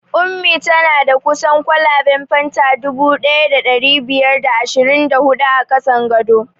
Ummi tana da kusan kwalaben fanta dubu ɗaya da ɗari biyar da ashirin da hudu a ƙasan gado